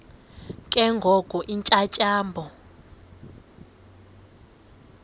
ke ngoko iintyatyambo